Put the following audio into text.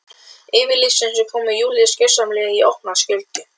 Yfirlýsing sem kom Júlíu gjörsamlega í opna skjöldu.